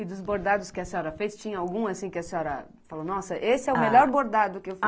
E dos bordados que a senhora fez, tinha algum, assim, que a senhora falou, nossa, esse é o melhor bordado que eu fiz?